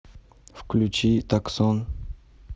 включи таксон